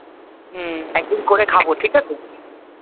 একদিন করে খাব ঠিক আছে?